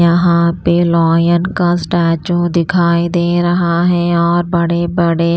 यहाँ पे लायन का स्टैचू दिखाई दे रहा है और बड़े-बड़े--